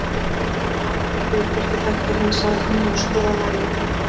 Almáttugur, hvort ég þekkti hann sagði amma og sló á lærið.